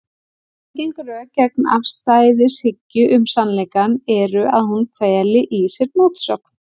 Algeng rök gegn afstæðishyggju um sannleikann eru að hún feli í sér mótsögn.